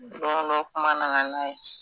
Don dɔ kuma nana n'a ye